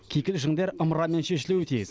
кикілжіңдер ымырамен шешілуі тиіс